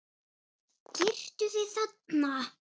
Girtu þig, þarna!